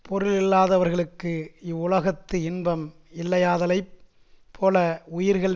பொருளில்லாதவர்களுக்கு இவ்வுலகத்து இன்பம் இல்லையாதலைப் போல உயிர்கள்